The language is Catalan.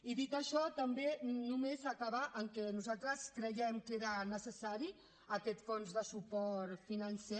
i dit això també només acabar amb que nosaltres creiem que era necessari aquest fons de suport financer